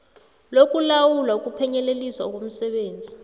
lokulawula ukuphunyeleliswa komsebenzi